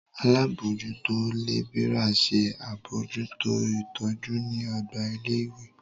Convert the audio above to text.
Alábòójútó lébìrà ṣe àbójútó ìtọ́jú ní ọgbà ilé ìwé